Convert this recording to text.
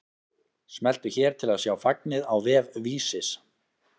Smelltu hér til að sjá fagnið á vef Vísis